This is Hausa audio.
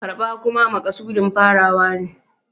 Karɓa kuma makasudin farawa ne.